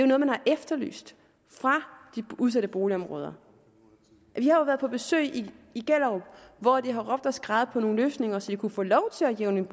noget man har efterlyst fra de udsatte boligområder vi har jo været på besøg i gellerup hvor de har råbt og skreget på nogle løsninger så de kunne få lov til at jævne